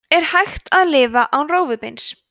er hægt að lifa án rófubeins